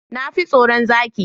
Na fi tsaron zaki.